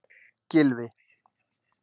Gylfi